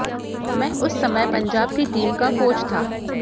मैं उस समय पंजाब की टीम का कोच था